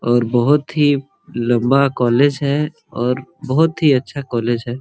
और बहुत ही लम्बा कॉलेज है और बहुत ही अच्छा कॉलेज है।